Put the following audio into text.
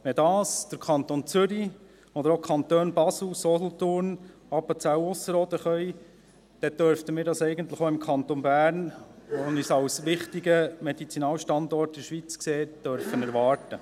Wenn dies der Kanton Zürich, aber auch die Kantone Basel, Solothurn, Appenzell Ausserrhoden können, dann dürften wir dies auch im Kanton Bern, der sich als ein wichtiger Medizinalstandort in der Schweiz sieht, erwarten.